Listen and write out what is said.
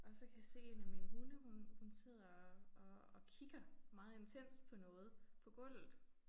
Og så kan jeg se 1 af mine hunde hun hun sidder og og og kigger meget intenst på noget på gulvet